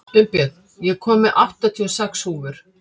Unnbjörn, ég kom með áttatíu og sex húfur!